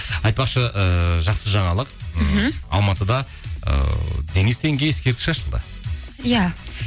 айтпақшы ыыы жақсы жаңалық мхм алматыда ыыы денис тенге ескерткіш ашылды иә